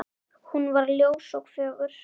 Hún var ljós og fögur.